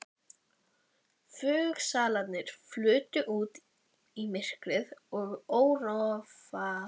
Einkennisklæddir varðmenn skiptust kumpánlega á sígarettum.